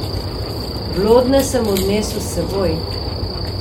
Blodnje sem odnesel s seboj.